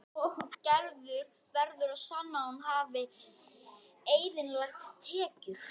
Gerður verður að sanna að hún hafi eðlilegar tekjur.